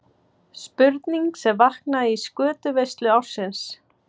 Spurning sem vaknaði í skötuveislu ársins.